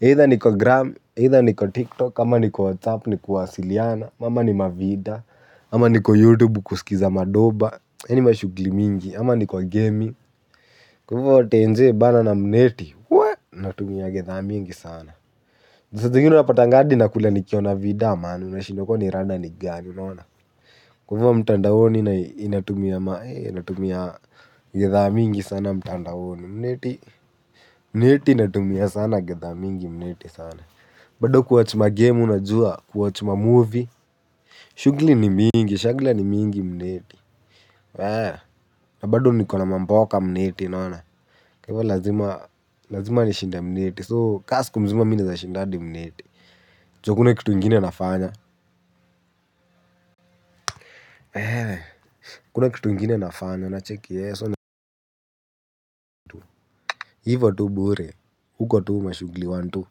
Either niko gram, either niko tiktok, ama niko whatsapp, niku wasiliana, mama ni mavida, ama niko youtube kuskiza madoba, yani mashugli mingi, ama niko gaming. Kwa hivo, tenje bana na mneti, waa, natumia gidhaa mingi sana. Za zingine napatanga hadi na kula nikiona vida, man unashindwa kwani rada ni gani, unaona. Kwa hivyo mtandaoni inatumia gidhaa mingi sana mtandaoni mneti. Mneti inatumia sana gidhaa mingi mneti sana. Bado kuwatch ma game unajua, kuwatch ma movie. Shughuli ni mingi, shagla ni mingi mneti. Bado nikona mamboka mneti unaona. Kwa lazima, lazima nishinde mneti. So kama siku mzima mimi nawezashinda hadi mneti juu hakuna kitu ingine nafanya hakuna kitu ingine nafanya unacheki ehee so na hivo tu bure uko tu ma shughuli one two.